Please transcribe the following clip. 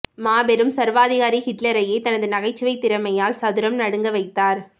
மாபெரும் சர்வாதிகாரி ஹிட்லரையே தனது நகைச்சுவை திறமையால் சதுரம் நடுங்க வைத்தார்